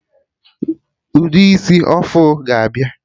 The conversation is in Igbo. Ụdị isi ọfụ ga abịa